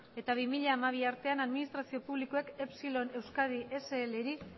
eta bi mila hamabi artean administrazio publikoek epsilon euskadi slri